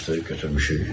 60-ı götürmüşük.